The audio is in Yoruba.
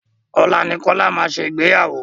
Ọ̀la ni Kola máa ṣe Ìgbéyàwó.